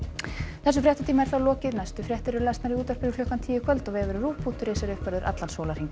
þessum fréttatíma er lokið næstu fréttir eru í útvarpinu klukkan tíu í kvöld og vefurinn ruv punktur is er uppfærður allan sólarhringinn